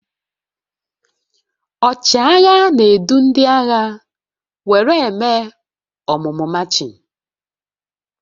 Ọchịagha na-edu ndị agha were eme ọmụmụ machịn